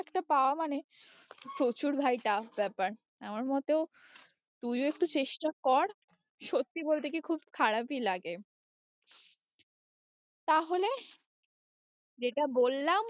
একটা পাওয়া মানে প্রচুর ভাই tough ব্যাপার আমার মতেও তুইও একটু চেষ্টা কর, সত্যি বলতে কি খুব খারাপই লাগে তাহলে যেটা বললাম